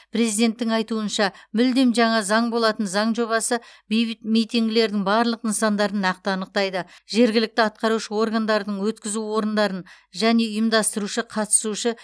президенттің айтуынша мүлдем жаңа заң болатын заң жобасы бейбіт митингілердің барлық нысандарын нақты анықтайды жергілікті атқарушы органдардың өткізу орындарын және ұйымдастырушы қатысушы